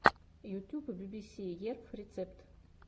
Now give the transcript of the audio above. ютюб би би си ерф рецепт